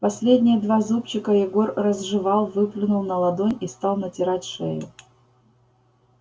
последние два зубчика егор разжевал выплюнул на ладонь и стал натирать шею